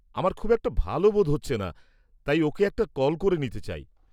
-আমার খুব একটা ভালো বোধ হচ্ছে না তাই ওঁকে একটা কল করে নিতে চাই।